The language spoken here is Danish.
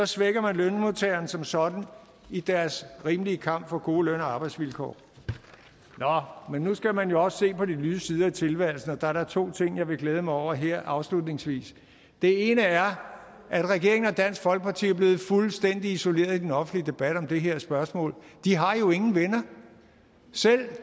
svækker man lønmodtagerne som sådan i deres rimelige kamp for gode løn og arbejdsvilkår nå men nu skal man jo også se på de lyse sider af tilværelsen og der er da to ting jeg vil glæde mig over her afslutningsvis den ene er at regeringen og dansk folkeparti er blevet fuldstændig isoleret i den offentlige debat om det her spørgsmål de har jo ingen venner selv